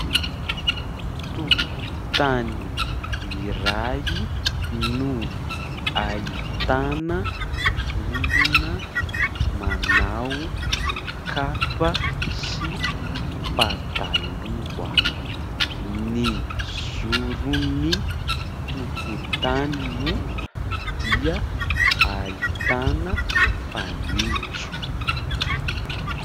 Tokotany iray no ahitana olona manao kapa sy pataloha. Ny zoron'ny tokotany moa dia ahitana fanitso.